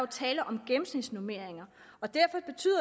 tale om gennemsnitsnormeringer